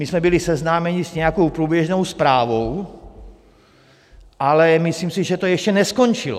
My jsme byli seznámeni s nějakou průběžnou zprávou, ale myslím si, že to ještě neskončilo.